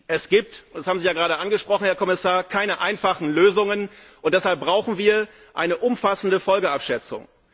Es gibt das haben Sie ja gerade angesprochen, Herr Kommissar keine einfachen Lösungen, und deshalb brauchen wir eine umfassende Folgenabschätzung.